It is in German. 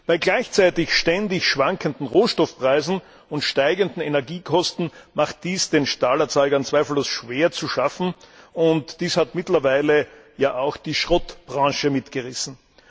Bei gleichzeitig ständig schwankenden Rohstoffpreisen und steigenden Energiekosten macht dies den Stahlerzeugern zweifellos schwer zu schaffen, und dies hat mittlerweile ja auch die Schrottbranche mitgerissen.